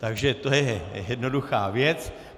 Takže to je jednoduchá věc.